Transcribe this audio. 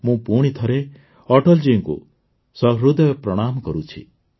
ମୁଁ ପୁଣିଥରେ ଅଟଳ ଜୀଙ୍କୁ ସହୃଦୟ ପ୍ରଣାମ କରୁଛି